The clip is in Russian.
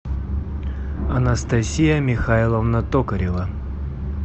анастасия михайловна токарева